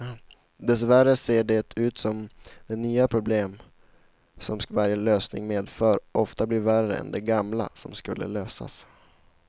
Dessvärre ser det ut som de nya problem som varje lösning medför ofta blir värre än de gamla som skulle lösas.